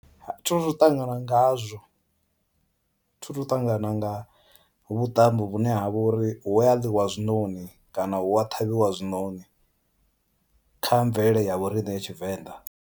Thi thu ṱangana ngazwo thi thu ṱangana nga vhuṱambo vhune ha vha uri hu a ḽiwa zwinoni kana hu a ṱhavhiwa zwinoni kha mvelele ya vhoriṋe ya Tshivenḓa.